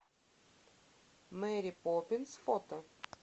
мэри поппинс фото